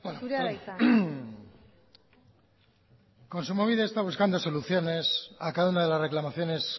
zurea da hitza kontsumobide está buscando soluciones a cada una de las reclamaciones